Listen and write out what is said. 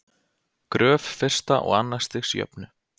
gröf fyrsta og annars stigs jöfnu